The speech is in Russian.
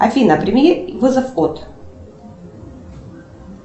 афина прими вызов код